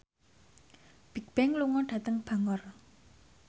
Bigbang lunga dhateng Bangor